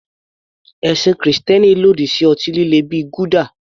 Ẹ̀sìn Kristẹni lòdì sí ọtí líle bíi gulder.